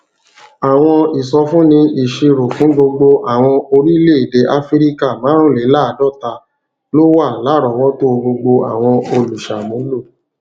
àwọn ìsọfúnni ìṣirò fún gbogbo orílèèdè áfíríkà márùnléláàádóta ló wà láròówótó gbogbo àwọn olùṣàmúlò